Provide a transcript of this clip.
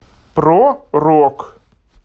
про рок